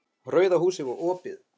Rauða húsið var opið.